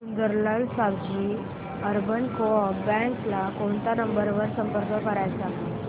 Sundarlal Sawaji Urban Coop Bank ला कोणत्या number वर संपर्क करायचा